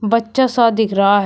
बच्चा सा दिख रहा है।